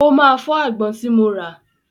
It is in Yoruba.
Ó máa fọ́ àgbọn tí mo rà.